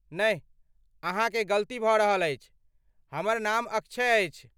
नहि अहाँकेँ गलती भऽ रहल अछि, हमर नाम अक्षय अछि।